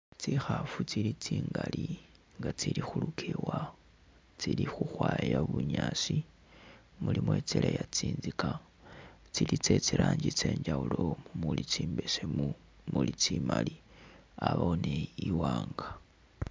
Tsikhafu tsili tsingali nga tsili khulukewa tsili khukhwaya bunyaasi ,mulimo itseleya tsinzika ,tsili tse tsi'ranji tsenjawulo muli tsimbesemu muli tsimali abawo ni iwanga